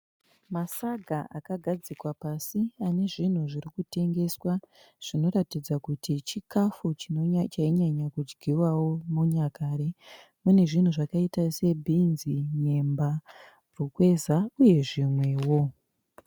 Masaga akagadzikwa pasi ane zvinhu zvirikutengeswa, zvinoratidza kuti chikafu chainyanyokudyiwawo munyakare. Mune zvinhu zvakaita sebhinzi, nyemba rukweza uye zvimwewo.